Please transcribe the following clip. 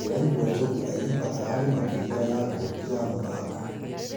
Ndĩraigua njogu ayimba ararĩ makĩria yangombi ya mũthako.